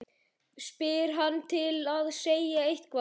spyr hann til að segja eitthvað.